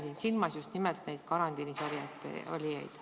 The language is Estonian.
Ma pean silmas just nimelt neid karantiinis olijaid.